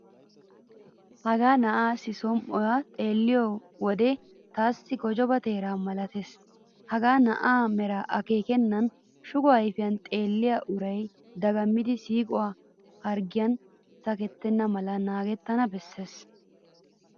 Hagaa na'aassi som"oy xeelliyo wode taassi gojobaa teeraa malatees. Hagaa na'aa meraa akeekennan shugo ayfiyan xeelliya uray dagammidi siiquwaa harggiyan sakettenna mala naagettanawu bessees.